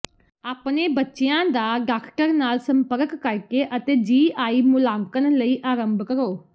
ਆਪਣੇ ਬੱਚਿਆਂ ਦਾ ਡਾਕਟਰ ਨਾਲ ਸੰਪਰਕ ਕਰਕੇ ਅਤੇ ਜੀ ਆਈ ਮੁਲਾਂਕਣ ਲਈ ਅਰੰਭ ਕਰੋ